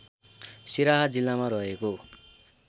सिराहा जिल्लामा रहेको